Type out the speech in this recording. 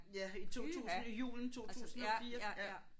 Ja i 2000 i julen 2004 ja